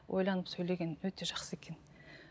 ойланып сөйлеген өте жақсы екен